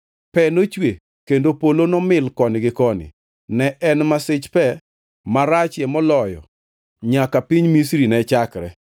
Pe nochwe kendo polo nomil koni gi koni. Ne en masich pe marachie moloyo nyaka piny Misri ne chakre.